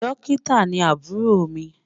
Dọ́kítà ni àbúrò mi